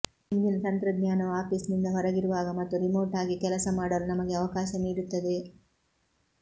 ಇಂದಿನ ತಂತ್ರಜ್ಞಾನವು ಆಫೀಸ್ನಿಂದ ಹೊರಗಿರುವಾಗ ಮತ್ತು ರಿಮೋಟ್ ಆಗಿ ಕೆಲಸ ಮಾಡಲು ನಮಗೆ ಅವಕಾಶ ನೀಡುತ್ತದೆ